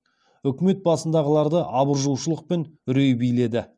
үкімет басындағыларды абыржушылық пен үрей биледі